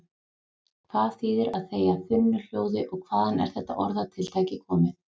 Hvað þýðir að þegja þunnu hljóði og hvaðan er þetta orðatiltæki komið?